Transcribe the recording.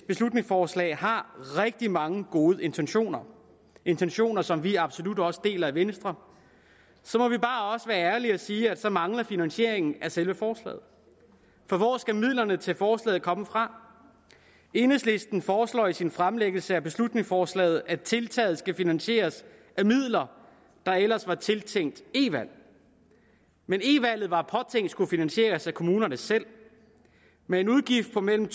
beslutningsforslag har rigtig mange gode intentioner intentioner som vi absolut også deler i venstre så må vi bare også være ærlige og sige at der mangler finansiering af selve forslaget for hvor skal midlerne til forslaget komme fra enhedslisten foreslår i sin fremsættelse af beslutningsforslaget at tiltaget skal finansieres af midler der ellers var tiltænkt e valg men e valget var påtænkt at skulle finansieres af kommunerne selv med en udgift på mellem